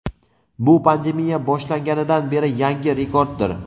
Bu pandemiya boshlanganidan beri yangi rekorddir.